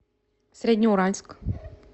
среднеуральск